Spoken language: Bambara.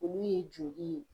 Olu ye joli ye